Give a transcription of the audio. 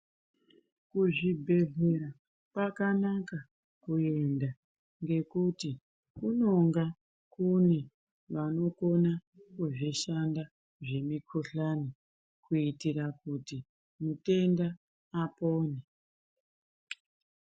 Kuzvibhedhlera kwakanaka kuenda, ngekuti kunonga kune vanokona kuzvishanda zvemikhuhlani kuitira kuti mutenda apone.